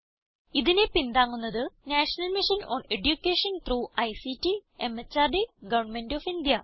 ഇതിനെ പിന്താങ്ങുന്നത് national mission on education through ICT MHRD government of India